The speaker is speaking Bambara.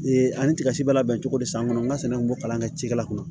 ani tigɛ si b'a labɛn cogo di san kɔnɔ n ka sɛnɛ kun b'o kalan kɛ cikɛla kɔnɔ